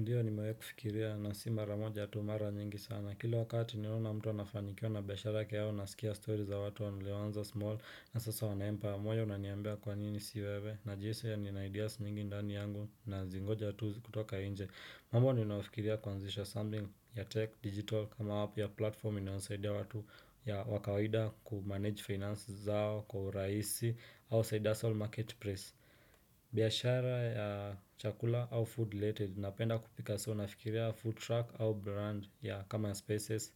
Ndiyo nimewahi kufikiria na si maramoja tu mara nyingi sana. Kila wakati niliona mtu anafanikiwa na biashara yake au nasikia story za watu walioanza small. Na sasa wananipa moyo unaniambia kwa nini si wewe na jinsi nina ideas nyingi ndani yangu na zingoja tu kutoka inje. Mambo ninayofikiria kuanzisha something ya tech digital kama app ya platformi inayowansaidia watu ya wa kawaida kumanage finance zao kwa rahisi au side hustle market place. Biashara ya chakula au food related Napenda kupika soo nafikiria food truck au brand ya common spaces